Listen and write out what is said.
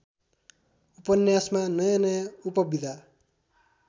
उपन्यासमा नयाँनयाँ उपविधा